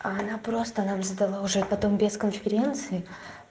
а она просто нам задала уже потом без конференции